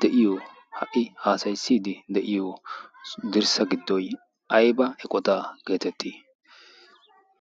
de'iyo ha''i haasayissiidi de'iyo dirssa giddoy ayba eqota geetettii